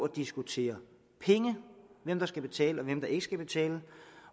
diskutere penge hvem der skal betale og hvem der ikke skal betale